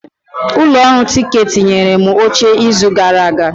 Ụlọ ọrụ tiketi nyere m oche n'izu gara aga.